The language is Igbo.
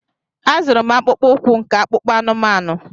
A zụrụ m akpụkpọ ụkwụ nke akpụkpọ anụmanụ.